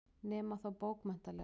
Nema þá bókmenntalega.